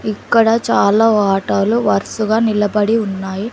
ఇక్కడ చాలా ఆటోలు వరుసగా నిలబడి ఉన్నాయి.